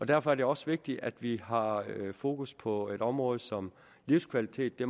derfor er det også vigtigt at vi har fokus på et område som livskvalitet det